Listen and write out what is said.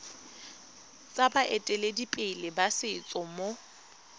tsa baeteledipele ba setso mo